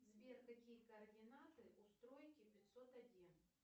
сбер какие координаты у стройки пятьсот один